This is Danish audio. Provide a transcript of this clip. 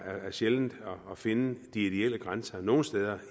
er sjældent at finde de ideelle grænser nogen steder